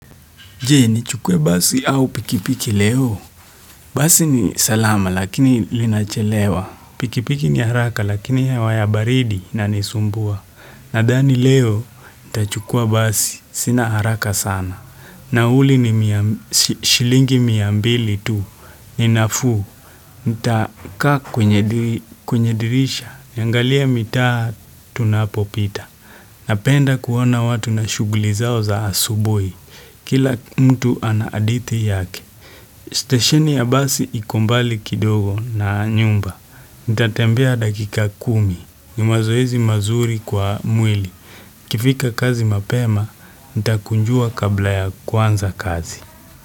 Je, nichukue basi au pikipiki leo. Basi ni salama lakini linachelewa. Pikipiki ni haraka lakini hewa ya baridi inanisumbua. Nadhani leo, nitachukua basi. Sina haraka sana. Nauli ni mia shilingi mia mbili tu. Ni nafuu nitakaa kwenye dirisha. Niangalie mitaa tunapopita. Napenda kuona watu na shughuli zao za asubuhi. Kila mtu ana hadithi yake. Stesheni ya basi iko mbali kidogo na nyumba. Nitatembea dakika kumi. Ni mazoezi mazuri kwa mwili. Nikifika kazi mapema, nitakunjua kabla ya kuanza kazi.